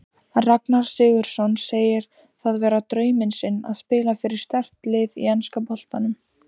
Ragnar Sigurðsson segir það vera drauminn sinn að spila fyrir sterkt lið í enska boltanum.